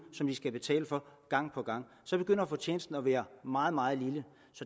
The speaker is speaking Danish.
som de skal betale for gang på gang så begynder fortjenesten at være meget meget lille